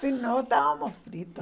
Se não, estávamos fritos.